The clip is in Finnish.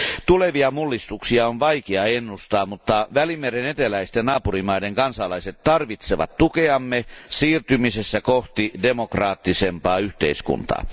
Tulevia mullistuksia on vaikea ennustaa, mutta Välimeren eteläisten naapurimaiden kansalaiset tarvitsevat tukeamme siirtymisessä kohti demokraattisempaa yhteiskuntaa.